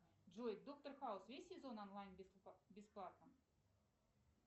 джой доктор хаус весь сезон онлайн бесплатно